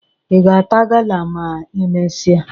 Ị ga-ata gala ma e mesịa?